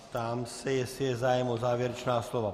Ptám se, jestli je zájem o závěrečná slova.